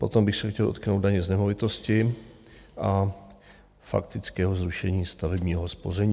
Potom bych se chtěl dotknout daně z nemovitosti a faktického zrušení stavebního spoření.